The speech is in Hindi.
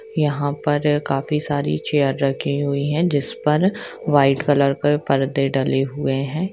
यहाँ पर ये काफी सारी चेयर रखी हुई हैं जिस पर व्हाइट कलर के पर्दे डले हुए हैं।